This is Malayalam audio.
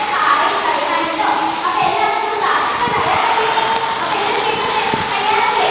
hi പറയാണ് ട്ടോ അപ്പൊ എല്ലാവരും നമ്മളെ Class എടുക്കാൻ തയ്യാറല്ലേ അപ്പൊ എല്ലാവരും കേക്കാൻ തയ് തയ്യാറല്ലേ